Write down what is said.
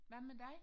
Hvad med dig